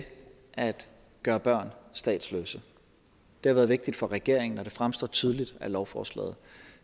at gøre børn statsløse det har været vigtigt for regeringen og det fremgår tydeligt af lovforslaget